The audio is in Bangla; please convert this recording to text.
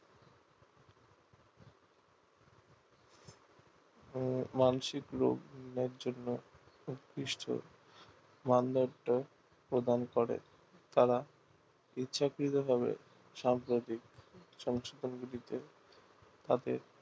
উহ মানসিক রোগ এর জন্যে উৎকৃষ্ট মানদণ্ড প্রদান করে তারা ইচ্ছাকৃত ভাবে সাম্প্রতিক সংস্তরগুলিতে তাদের